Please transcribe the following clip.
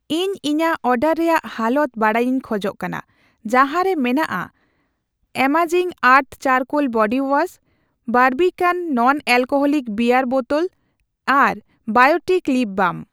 ᱤᱧ ᱤᱧᱟᱜ ᱚᱰᱟᱨ ᱨᱮᱭᱟᱜ ᱦᱟᱞᱚᱛ ᱵᱟᱰᱟᱭᱤᱧ ᱠᱷᱚᱡ ᱠᱟᱱᱟ, ᱡᱟᱦᱟᱸ ᱨᱮ ᱢᱮᱱᱟᱜᱼᱟ amazing earth charcoal body wash, Barbican non-alcoholic beer ᱵᱳᱛᱳᱞ ᱟᱨ ᱵᱟᱭᱚᱴᱤᱠ ᱞᱤᱯ ᱵᱟᱢ ᱾